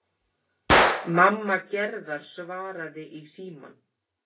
Mamma Gerðar svaraði í símann.